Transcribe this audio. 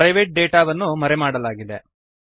private ಡೇಟಾವನ್ನು ಮರೆಮಾಡಲಾಗಿದೆ